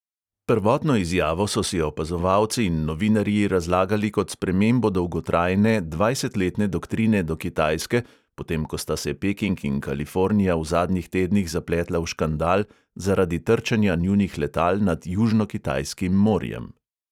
Prvotno izjavo so si opazovalci in novinarji razlagali kot spremembo dolgotrajne, dvajsetletne doktrine do kitajske, potem ko sta se peking in kalifornija v zadnjih tednih zapletla v škandal zaradi trčenja njunih letal nad južnokitajskim morjem.